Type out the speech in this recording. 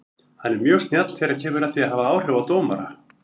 Hann er mjög snjall þegar kemur að því að hafa áhrif á dómara.